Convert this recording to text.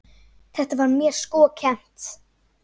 Þetta var mér sko kennt.